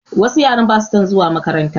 Wasu yaran basu son zuwa makaranta